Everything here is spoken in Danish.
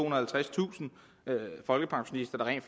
og halvtredstusind folkepensionister der rent